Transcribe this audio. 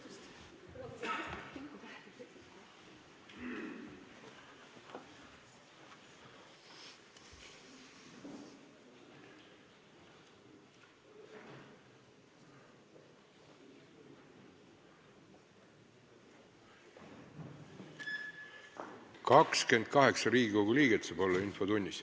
Kohaloleku kontroll Infotunnis saab osaleda 28 Riigikogu liiget.